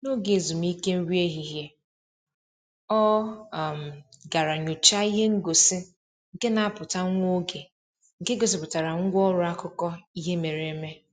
N'oge ezumike nri ehihie, ọ um gara nyọchaa ihe ngosi nke na-apụta nwa oge nke gosipụtara ngwa ọrụ akụkọ ihe mere eme.